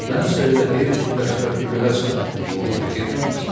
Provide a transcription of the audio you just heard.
Mənsə elə hey fikirləşirəm ki, görəsən onu itirməmisən?